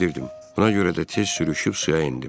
Buna görə də tez sürüşüb suya endim.